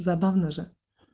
забавно же